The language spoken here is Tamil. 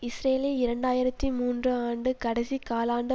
இஸ்ரேலில் இரண்டு ஆயிரத்தி மூன்று ஆண்டு கடைசி காலாண்டு